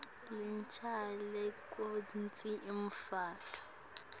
lecinisekisa kutsi lomntfwana